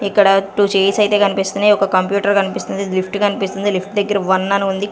ఇక్కడ two chairs అయితే కనిపిస్తున్నాయి ఒక కంప్యూటర్ కనిపిస్తుంది లిఫ్ట్ కనిపిస్తుంది లిఫ్ట్ దగ్గర వన్ అని ఉంది.